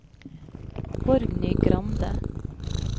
Borgny Grande